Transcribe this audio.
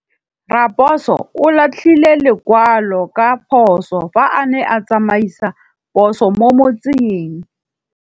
Raposo o latlhie lekwalô ka phosô fa a ne a tsamaisa poso mo motseng.